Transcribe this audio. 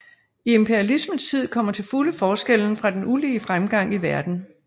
I imperialismens tid kommer til fulde forskellen fra den ulige fremgang i verden